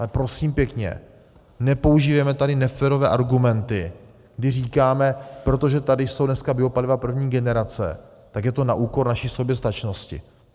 Ale prosím pěkně, nepoužívejme tady neférové argumenty, kdy říkáme, protože tady jsou dneska biopaliva první generace, tak je to na úkor naší soběstačnosti.